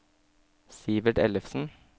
Sivert Ellefsen